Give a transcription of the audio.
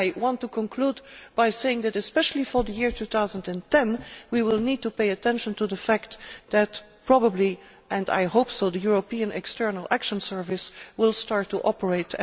I want to conclude by saying that, especially for the year 2010, we will need to pay attention to the fact that probably and hopefully the European External Action Service will start to operate.